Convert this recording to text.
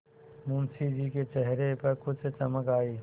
मुंशी जी के चेहरे पर कुछ चमक आई